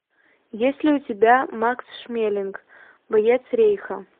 есть ли у тебя макс шмелинг боец рейха